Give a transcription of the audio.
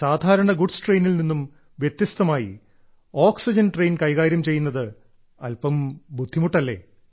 സാധാരണ ഗുഡ്സ് ട്രെയിനിൽ നിന്നും വ്യത്യസ്തമായി ഓക്സിജൻ ട്രെയിൻ കൈകാര്യം ചെയ്യുന്നത് അല്പം ബുദ്ധിമുട്ടല്ലേ